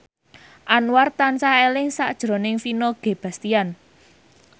Anwar tansah eling sakjroning Vino Bastian